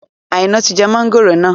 Aina tí jẹ mọ̀ngòrò náà